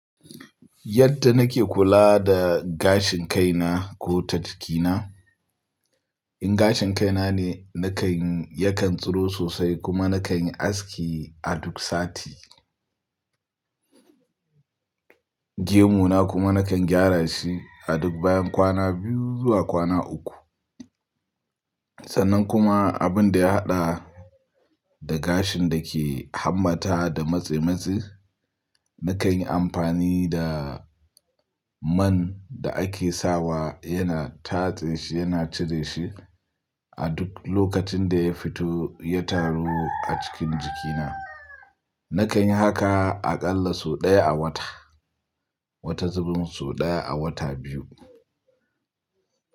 Yadda nake kula da gashin kaina ko ta jikina, in gashin kaina ne nakan yakan tsiro sosai kuma nakan yi aski a duk sati. Gemuna kuma nakan gyara shi a duk bayan kwana biyu zuwa kwana uku. Sannan kuma abin da ya haɗa da gashin da ke hammata da matsematse, nakan yi amfani da man da ake sawa yana tatse shi, yana cire shi a duk lokacin da ya fito ya taru a cikin jikina. Nakan yi haka aƙalla sau ɗaya a wata, wata zubin sau ɗaya a wata biyu.